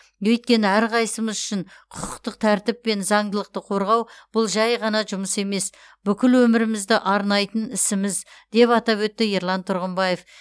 өйткені әрқайсымыз үшін құқықтық тәртіп пен заңдылықты қорғау бұл жай ғана жұмыс емес бүкіл өмірімізді арнайтын ісіміз деп атап өтті ерлан тұрғымбаев